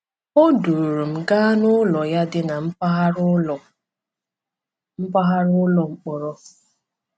O duru m gaa n’ụlọ ya dị na mpaghara ụlọ mpaghara ụlọ mkpọrọ.